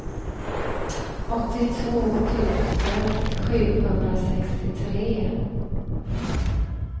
åttiotvå tusen sjuhundrasextiotre